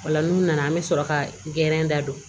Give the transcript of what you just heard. Ola n'u nana an bɛ sɔrɔ ka da don